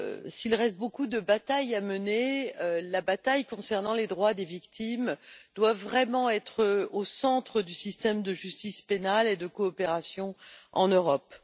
S'il reste beaucoup de batailles à mener, celle concernant les droits des victimes doit vraiment être au centre du système de justice pénale et de coopération en Europe.